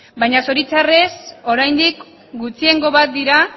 baina zoritxarrez oraindik gutxiengo bat dira